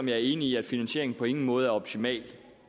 jeg er enig i at finansieringen på ingen måde er optimal